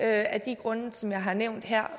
af de grunde som jeg har nævnt her